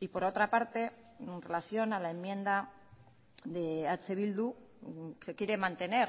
y por otra parte en relación a la enmienda de eh bildu se quiere mantener